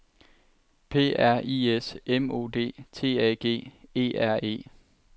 P R I S M O D T A G E R E